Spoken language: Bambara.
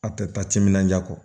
A tɛ taa timinandiya kɔ